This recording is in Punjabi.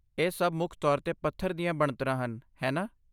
ਇਹ ਸਭ ਮੁੱਖ ਤੌਰ 'ਤੇ ਪੱਥਰ ਦੀਆਂ ਬਣਤਰਾਂ ਹਨ, ਹੈ ਨਾ?